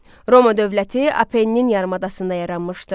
Roma dövləti Apennin yarımadasında yaranmışdı.